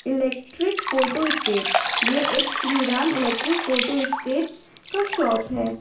Electric photo state ये एक Shri Ram electric photo state का शॉप है।